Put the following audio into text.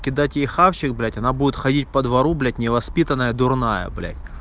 кидать ей хавших блять она будет ходить по двору блять невоспитанная дурная блять